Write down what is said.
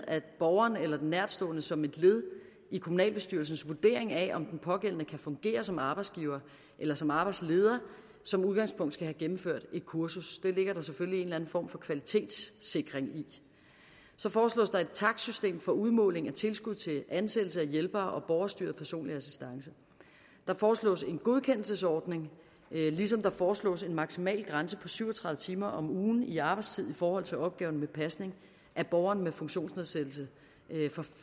at borgeren eller den nærtstående som et led i kommunalbestyrelsens vurdering af om den pågældende kan fungere som arbejdsgiver eller som arbejdsleder som udgangspunkt skal have gennemført et kursus det ligger der selvfølgelig en eller anden form for kvalitetssikring i så foreslås der et takstsystem for udmåling af tilskud til ansættelse af hjælpere og borgerstyret personlig assistance der foreslås en godkendelsesordning ligesom der foreslås en maksimal grænse på syv og tredive timer om ugen i arbejdstid i forhold til opgaven med pasning af borgeren med funktionsnedsættelse